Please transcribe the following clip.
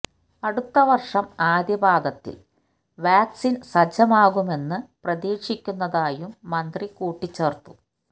അടുത്ത വര്ഷം ആദ്യ പാദത്തില് വാക്സിന് സജ്ജമാകുമെന്ന് പ്രതീക്ഷിക്കുന്നതായും മന്ത്രി കൂട്ടിച്ചേര്ത്തു